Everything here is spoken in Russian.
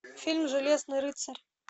фильм железный рыцарь